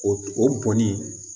O bɔnni